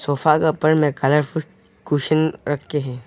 Sofa के ऊपर में कलरफुल कोसेन रखे हुए है।